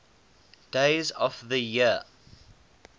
days of the year